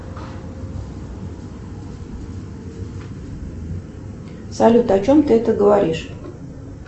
салют о чем ты это говоришь